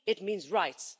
it means rights.